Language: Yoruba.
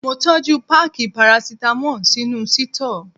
Mo tọ́jú páákì parasítámọ̀ sínú sítọ́ọ̀.